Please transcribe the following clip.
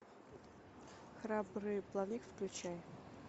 храбрый плавник включай